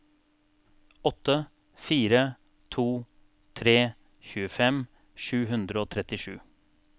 åtte fire to tre tjuefem sju hundre og trettisju